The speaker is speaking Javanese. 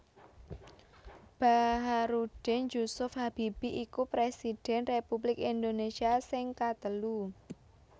Bacharuddin Jusuf Habibie iku Presiden Republik Indonésia sing katelu